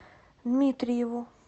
дмитриеву